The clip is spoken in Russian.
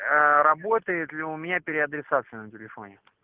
работает ли у меня переадресация на телефоне